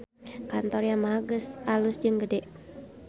Kantor Yamaha alus jeung gede